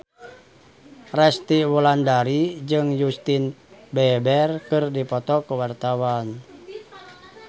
Resty Wulandari jeung Justin Beiber keur dipoto ku wartawan